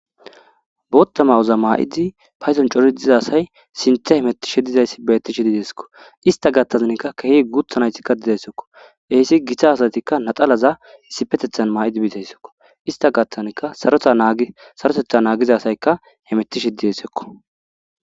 Booththa mayoza mayida payddon cori diiza asay sinththe hemetishe dizayssi bettishe dessiko issta gaththan kehi guththa nayti dessiko hessi giita asatikka laxxanaza issippetethan mayidi bizayssako issta gaththan saroteththa naggiza asayika hametishe desseko